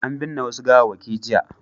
An binne wasu gawawwaki jiya.